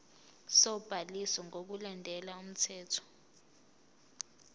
sobhaliso ngokulandela umthetho